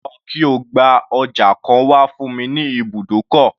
Lọ kí o gba ọjà kan wá fún mi ní ibùdókọ̀.